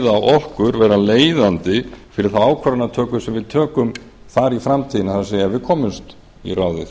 þeir vera leiðandi fyrir þá ákvarðanatöku sem við tökum þar í framtíðinni það er ef við komumst í ráðið